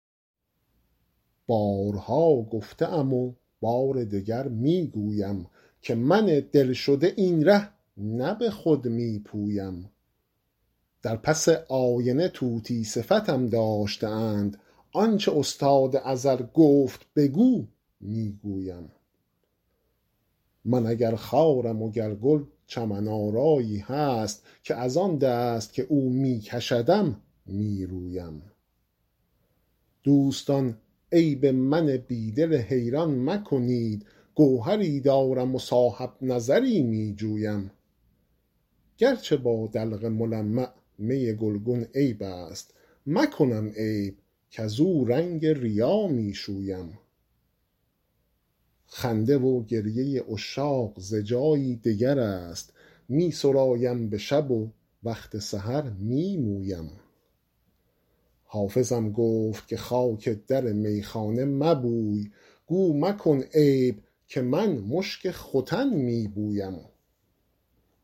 بارها گفته ام و بار دگر می گویم که من دل شده این ره نه به خود می پویم در پس آینه طوطی صفتم داشته اند آن چه استاد ازل گفت بگو می گویم من اگر خارم و گر گل چمن آرایی هست که از آن دست که او می کشدم می رویم دوستان عیب من بی دل حیران مکنید گوهری دارم و صاحب نظری می جویم گر چه با دلق ملمع می گلگون عیب است مکنم عیب کزو رنگ ریا می شویم خنده و گریه عشاق ز جایی دگر است می سرایم به شب و وقت سحر می مویم حافظم گفت که خاک در میخانه مبوی گو مکن عیب که من مشک ختن می بویم